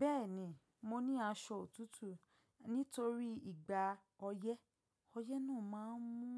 Bẹ́ẹ̀ni, mo ní aṣọ òtútù nítorí ìgbà ọyẹ́. Ọyẹ́ náà máa n mú,